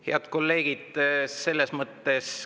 Head kolleegid!